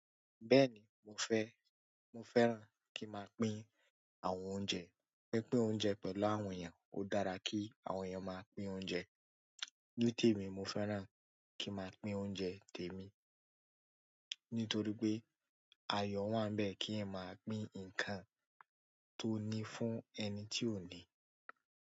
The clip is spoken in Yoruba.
Bẹ́ẹ̀ni mo fẹ́, mo fẹ́ràn kí máa pín àwọn oúnjẹ, pínpín oúnjẹ pẹ̀lú àwọn èèyàn ó dára kí àwọn èèyàn máa pín oúnjẹ. Ní tèmi mo fẹ́ràn kí ń máa pín oúnjẹ tèmi, nítorí pé ayọ wà bẹ́ẹ̀ kí èèyàn máa pín nǹkan tó ní fún ẹni tí ò ní.